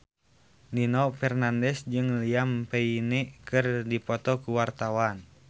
Nino Fernandez jeung Liam Payne keur dipoto ku wartawan